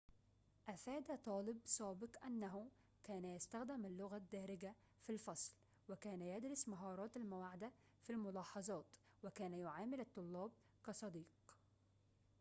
أفاد طالب سابق إنه كان يستخدم اللغة الدارجة في الفصل وكان يدرس مهارات المواعدة في الملاحظات وكان يعامل الطلاب كصديق